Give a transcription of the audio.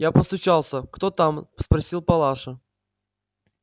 я постучался кто там спросил палаша